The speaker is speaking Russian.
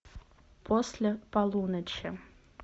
после полуночи